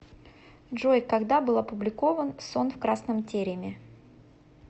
джой когда был опубликован сон в красном тереме